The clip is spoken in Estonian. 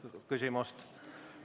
Ei ole küsimust.